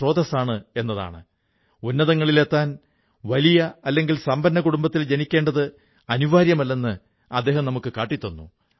സുഹൃത്തുക്കളേ കാർഷിക മേഖലയിൽ പുതിയ സാധ്യതകൾ രൂപപ്പെടുന്നതുകണ്ട് നമ്മുടെ യുവാക്കളും വളരെയധികം ഇതുമായി ബന്ധപ്പെടാൻ തുടങ്ങിയിരിക്കുന്നു